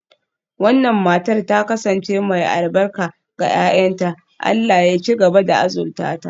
Wannan matar ta kasance mai albarka ga 'ya'yanta, Allah ya ci gaba da azurta ta.